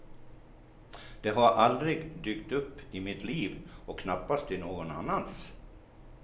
Det har aldrig dykt upp i mitt liv, och knappast i någon annans.